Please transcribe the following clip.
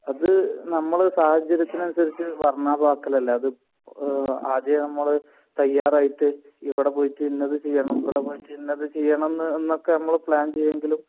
അത് നമ്മൾ സാഹചര്യത്തിന്ന് അനുസരിച്ച് വർണാഭമാക്കലല്ലേ അത് ആഹ് ആദ്യം നമ്മൾ തയ്യാറായിട്ട് ഇവിടെ പോയിട്ട് ഇന്നത് ചെയ്യണം ഇവിടെ പോയിട്ട് ഇന്നത് ചെയ്യണം എന്ന് എന്നൊക്കെ നമ്മൾ പ്ലാൻ ചെയ്യുമെങ്കിലും